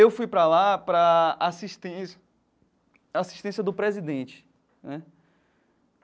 Eu fui para lá para assistência assistência do presidente, né?